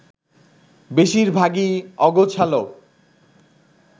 বেশির ভাগই অগোছালো